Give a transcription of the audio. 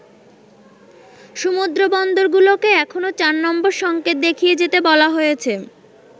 সমুদ্রবন্দরগুলোকে এখনো চার নম্বর সঙ্কেত দেখিয়ে যেতে বলা হয়েছে।